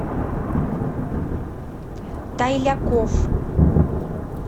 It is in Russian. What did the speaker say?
тайляков